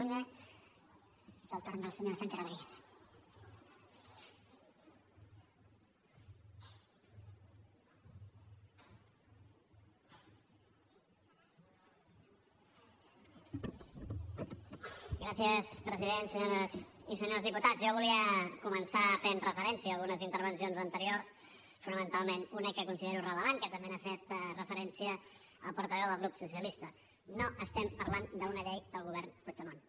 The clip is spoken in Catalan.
senyores i senyors diputats jo volia començar fent referència a algunes intervencions anteriors fonamentalment a una que considero rellevant que també hi ha fet referència el portaveu del grup socialista no estem parlant d’una llei del govern puigdemont